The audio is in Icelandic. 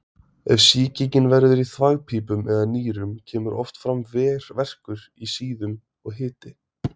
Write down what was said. Ef sýkingin verður í þvagpípum eða nýrum kemur oft fram verkur í síðum og hiti.